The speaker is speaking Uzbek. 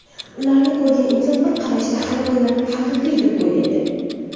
Ularni ko‘rgan inson bir qarashda hayvonlarni haqiqiy deb o‘ylaydi.